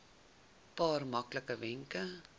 paar maklike wenke